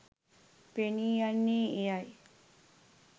පෙනී යන්නේ එයයි.